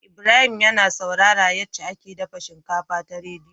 Ibrahim yAna saurara yace ake dafa shinkafa ta rediyo